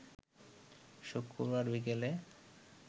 শুক্রবার বিকেলে